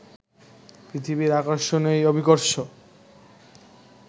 পৃথিবীর আকর্ষণই অভিকর্ষ